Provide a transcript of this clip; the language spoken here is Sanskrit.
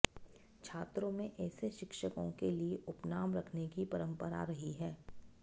छात्रों में ऐसे शिक्षकों के लिए उपनाम रखने की परंपरा रही है